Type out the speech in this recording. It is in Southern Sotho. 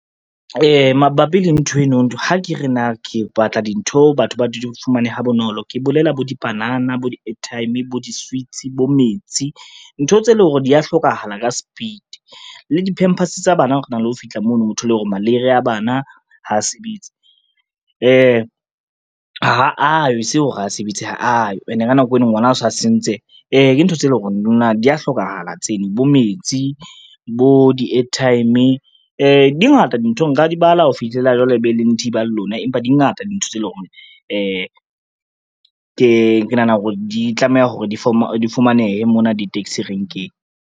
Mabapi le nthweno ha ke re na ke batla dintho batho ba di fumane ha bonolo, ke bolela bo dipanana, bo di-airtime, bo di-sweets, bo metsi. Ntho tse leng hore dia hlokahala ka speed le di-pampers tsa bana rena le ho fihla mono, o thole hore maleire a bana ha a sebetse, ha ayo e se hore ha sebetse, ha ayo ene ka nako eo ngwana o sa sentse. Ke ntho tse eleng hore lona dia hlokahala tseno bo metsi, bo di-airtime di ngata dintho nka di bala ho fihlela jwale e be le nthiba le lona, empa di ngata dintho tse leng hore ke nahana hore di tlameha ho re di fumanehe mona di-taxi renkeng.